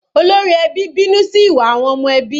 Olórí ẹbí bínú sí ìwà àwọn ọmọ ẹbí.